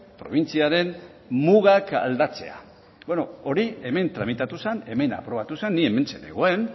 probintziaren mugak aldatzea bueno hori hemen tramitatu zen hemen aprobatu zen ni hementxe nengoen